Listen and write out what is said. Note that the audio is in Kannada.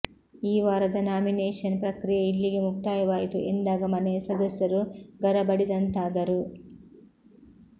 ಈ ವಾರದ ನಾಮಿನೇಷನ್ ಪ್ರಕ್ರಿಯೆ ಇಲ್ಲಿಗೆ ಮುಕ್ತಾಯವಾಯಿತು ಎಂದಾಗ ಮನೆಯ ಸದಸ್ಯರು ಗರಬಡಿದಂತಾದರು